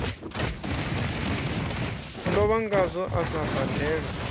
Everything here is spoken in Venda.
lovha ngazwo a sa badelwe